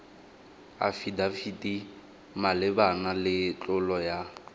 afidafiti malebana le tlolo ya